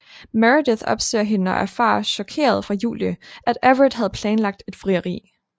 Meredith opsøger hende og erfarer chokeret fra Julie at Everett havde planlagt et frieri